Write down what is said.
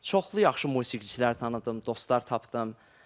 Çoxlu yaxşı musiqiçilər tanıdım, dostlar tapdım.